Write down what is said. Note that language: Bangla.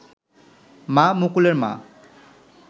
মা, মুকুলের মা